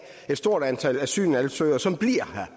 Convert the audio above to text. et stort antal asylansøgere som bliver her